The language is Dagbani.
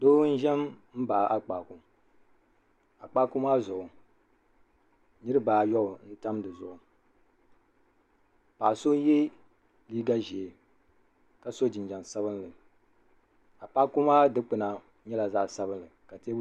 doo n-ʒe m-baɣi Akpaaku Akpaaku maa zuɣu niriba ayɔbu n-tam di zuɣu paɣ' so ye liiga ʒee ka sɔ jinjam sabinli Akpaaku maa dukpuna nyɛla zaɣ' sabinli ka teebuli nima.